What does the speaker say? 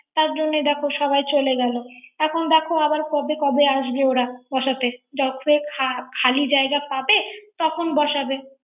তার জন্য দেখ সাবাই চলে গেল এখন দেখ আবার কবে কবে আসবে ওরা বসাতে, যখন খা-খালি জায়গা পাবে তখন বসাবে